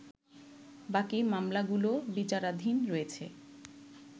বাকি মামলাগুলো বিচারাধীন রয়েছ